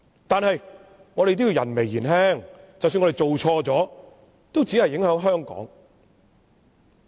但是，我們人微言輕，即使我們做錯亦只影響香港。